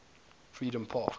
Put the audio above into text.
freedompark